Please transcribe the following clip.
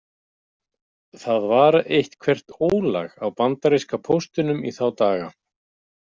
Það var eitthvert ólag á bandaríska póstinum í þá daga.